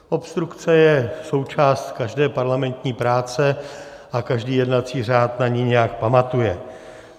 Obstrukce je součást každé parlamentní práce a každý jednací řád na ni nějak pamatuje.